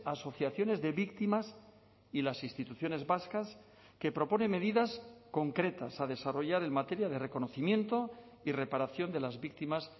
asociaciones de víctimas y las instituciones vascas que propone medidas concretas a desarrollar en materia de reconocimiento y reparación de las víctimas